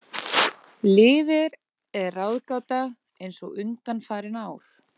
Liðið er ráðgáta eins og undanfarin ár.